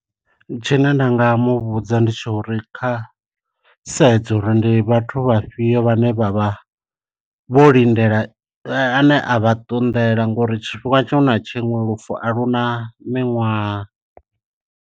Tshine nda nga muvhudza ndi tsha uri kha sedze uri ndi vhathu vha fhiyo vhane vha vha vho lindela ane a vha ṱunḓela ngori tshifhinga tshiṅwe na tshiṅwe lufu a luna miṅwaha.